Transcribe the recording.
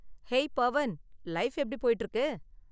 Hey Pavan, life எப்படி போய்ட்டு இருக்கு?